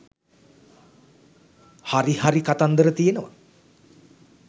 හරි හරි කතන්දර තියෙනවා.